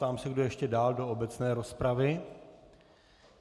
Ptám se, kdo ještě dál do obecné rozpravy.